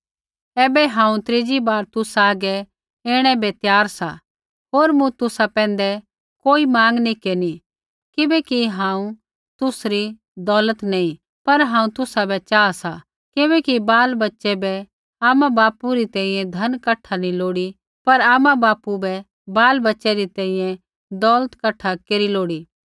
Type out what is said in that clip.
ऐबै हांऊँ त्रीजी बार तुसा हागै ऐणै बै त्यार सा होर मूँ तुसा पैंधै कोई माँग नी केरनी किबैकि हांऊँ तुसरी दौलत नैंई पर हांऊँ तुसाबै चाहा सा किबैकि बालबच्चे बै आमाबापू री तेइयै धन कठा नी लोड़ी पर आमाबापू बै बालबच्चे री तैंईंयैं दौलत कठा केरी लोड़ी